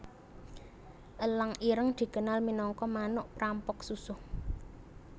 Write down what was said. Elang ireng dikenal minangka manuk prampok susuh